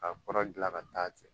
Ka kɔrɔ gilan ka taa